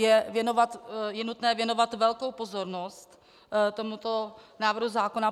Je nutné věnovat velkou pozornost tomuto návrhu zákona.